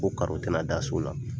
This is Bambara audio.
Ko tɛna da so la.